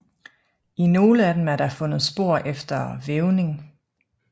I nogle af dem er fundet spor efter vævning